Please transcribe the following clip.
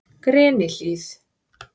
Grenihlíð